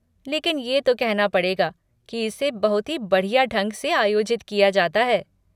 लेकिन ये तो कहना पड़ेगा की इसे बहुत ही बढ़िया ढंग से आयोजित किया जाता है।